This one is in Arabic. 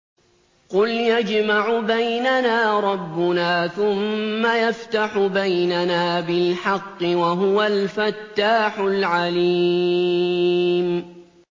قُلْ يَجْمَعُ بَيْنَنَا رَبُّنَا ثُمَّ يَفْتَحُ بَيْنَنَا بِالْحَقِّ وَهُوَ الْفَتَّاحُ الْعَلِيمُ